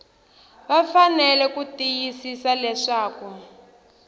va fanele ku tiyisisa leswaku